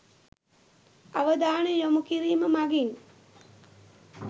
අවධානය යොමු කිරිම මගින්